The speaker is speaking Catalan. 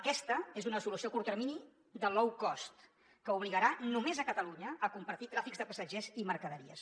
aquesta és una solució a curt termini de low cost que obligarà només a catalunya a compartir tràfics de passatgers i mercaderies